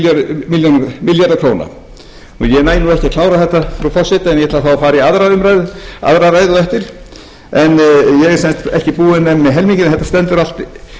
hlutar fjörutíu milljarðar króna ég næ ekki að klára þetta frú forseti en ég ætla þá að fara í aðra ræðu á eftir en ég er sem sagt ekki búinn með